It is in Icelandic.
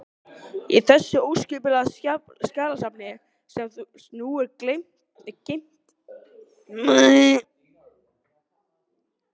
Í þessu óskipulega skjalasafni, sem nú er geymt í kjallara